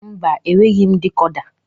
Mba, enweghị m dikoda